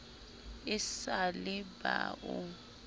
e sa le ba o